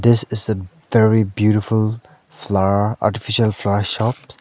this is a very beautiful flower artificial flower shops.